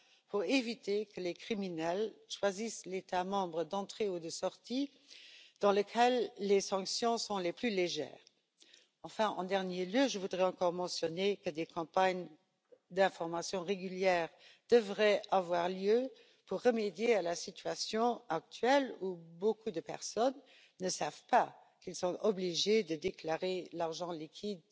pour éviter que les criminels choisissent l'État membre d'entrée ou de sortie dans lequel les sanctions sont les plus légères. Enfin, en dernier lieu, je voudrais encore mentionner que des campagnes d'information régulières devraient avoir lieu pour remédier à la situation actuelle, où beaucoup de personnes ne savent pas qu'elles sont obligées de déclarer leur argent liquide